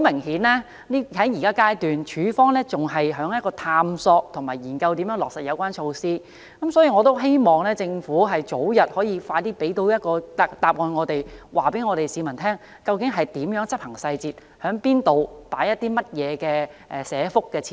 顯然，在現階段，署方仍在探索和研究如何落實有關措施，所以我希望政府可以早日向我們提供答案，告訴市民具體執行細節，包括在哪個社區設立哪些社福設施。